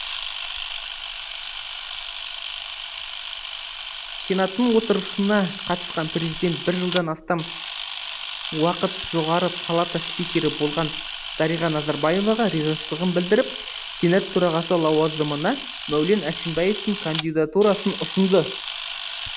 сенаттың отырысына қатысқан президент бір жылдан астам уақыт жоғары палата спикері болған дариға назарбаеваға ризашылығын білдіріп сенат төрағасы лауазымына мәулен әшімбаевтың кандидатурасын ұсынды